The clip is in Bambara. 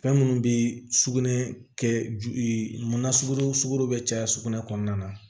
Fɛn minnu bɛ sugunɛ kɛ ju munna sogo bɛ caya sugunɛ kɔnɔna na